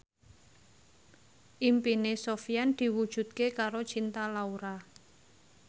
impine Sofyan diwujudke karo Cinta Laura